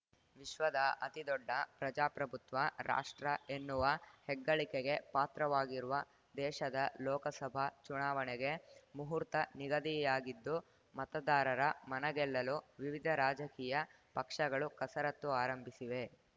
ವಿಶ್ವದ ಅತಿದೊಡ್ಡ ಪ್ರಜಾಪ್ರಭುತ್ವ ರಾಷ್ಟ್ರ ಎನ್ನುವ ಹೆಗ್ಗಳಿಕೆಗೆ ಪಾತ್ರವಾಗಿರುವ ದೇಶದ ಲೋಕಸಭಾ ಚುನಾವಣೆಗೆ ಮುಹೂರ್ತ ನಿಗದಿಯಾಗಿದ್ದು ಮತದಾರರ ಮನಗೆಲ್ಲಲು ವಿವಿಧ ರಾಜಕೀಯ ಪಕ್ಷಗಳು ಕಸರತ್ತು ಆರಂಭಿಸಿವೆ